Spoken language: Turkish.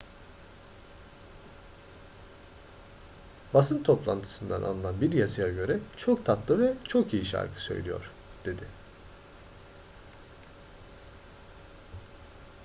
basın toplantısından alınan bir yazıya göre çok tatlı ve çok iyi şarkı söylüyor dedi